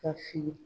Ka fili